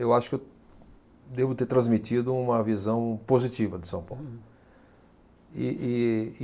Eu acho que eu devo ter transmitido uma visão positiva de São Paulo. E, e